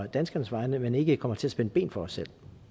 danskernes vegne men ikke kommer til at spænde ben for os